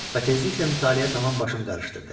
Və tezliklə mütaliə tam başım qərışdırdı.